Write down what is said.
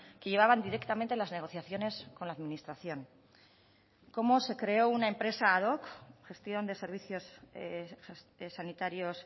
que llevaban directamente las negociaciones con la administración cómo se creó una empresa ad hoc gestión de servicios sanitarios